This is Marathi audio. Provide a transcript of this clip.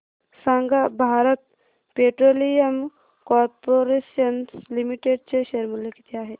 सांगा भारत पेट्रोलियम कॉर्पोरेशन लिमिटेड चे शेअर मूल्य किती आहे